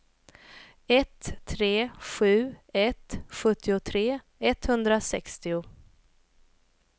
ett tre sju ett sjuttiotre etthundrasextio